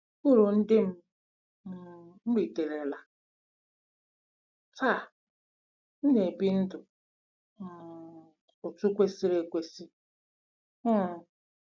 URU NDỊ M um RITERELA: Taa, m na-ebi ndụ um otú kwesịrị ekwesị um.